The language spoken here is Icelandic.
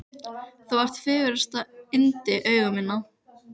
Þú ert fegursta yndi augna minna.